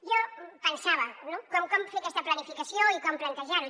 jo pensava no com fer aquesta planificació i com plantejar ho